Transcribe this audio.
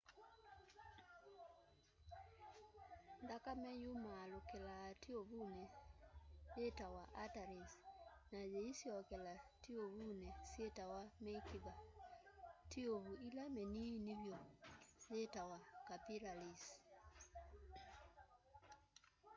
nthakame yumaalukilaa tiuvuni witawa arteries na yîisyokela tiuvuni syitawa mikiva. tiuvu ila miniini vyu yitawa capillaries